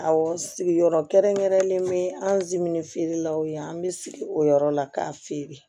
Awɔ sigiyɔrɔ kɛrɛnkɛrɛnlen bɛ anzimini feerelaw ye an bɛ sigi o yɔrɔ la k'a feere